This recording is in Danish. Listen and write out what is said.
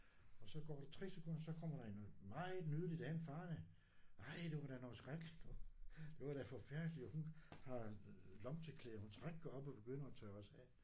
Og så går der 3 sekunder så kommer der en meget nydelig dame farende. Ej det var da noget skrækkeligt noget det var da forfærdeligt og hun har lommetørklæder hun trækker op og begynder at tørre os af